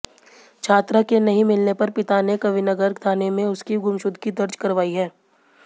छात्रा के नहीं मिलने पर पिता ने कविनगर थाने में उसकी गुमशुदगी दर्ज करवाई है